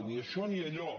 ni això ni allò